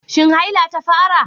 Shin haila ta fara?